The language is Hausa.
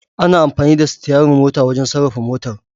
Ana amfani da Sityarir mota wajan sarrafa motar